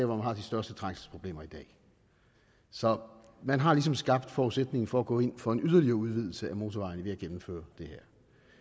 man har de største trængselsproblemer i dag så man har ligesom skabt forudsætningen for at gå ind for en yderligere udvidelse af motorvejen ved at gennemføre det